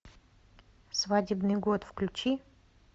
свадебный год включи